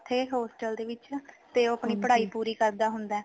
ਉਥੇ postal ਦੇ ਵਿਚ ਤੇ ਆਪਣੀ ਪੜ੍ਹਾਈ ਪੂਰੀ ਕਰਦਾ ਹੁੰਦਾ